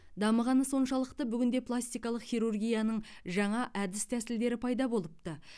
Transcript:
дамығаны соншалықты бүгінде пластикалық хирургияның жаңа әдіс тәсілдері пайда болыпты